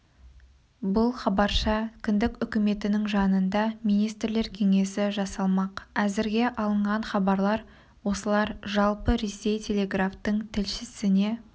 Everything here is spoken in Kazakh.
бұл хабарша кіндік үкіметінің жанында министрлер кеңесі жасалмақ әзірге алынған хабарлар осылар жалпы ресей телеграфтың тілшісіне